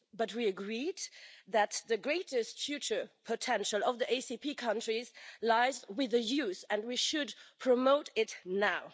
We agreed that the greatest future potential of the ACP countries lies with the youth, and we should promote it now.